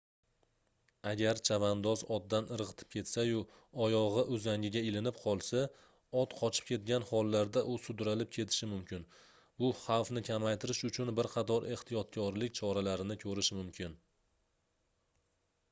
agar chavandoz otdan irgʻitib ketsa-yu oyogʻi uzangiga ilinib qolsa ot qochib ketgan hollarda u sudralib ketilishi mumkin bu xavfni kamaytirish uchun bir qatoq ehtiyotkorlik choralarini koʻrish mumkin